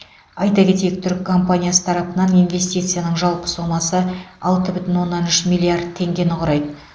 айта кетейік түрік компаниясы тарапынан инвестицияның жалпы сомасы алты бүтін оннан үш миллиард теңгені құрайды